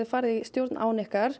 farið í stjórn án ykkar